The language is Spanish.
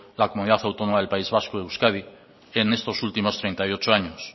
la comunidad autónoma del país vasco euskadi en estos últimos treinta y ocho años